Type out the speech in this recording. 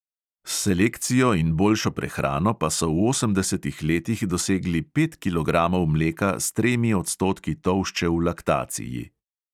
S selekcijo in boljšo prehrano pa so v osemdesetih letih dosegli pet kilogramov mleka s tremi odstotki tolšče v laktaciji.